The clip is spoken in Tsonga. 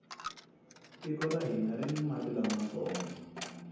tiko ra hina rini mati lamantsongo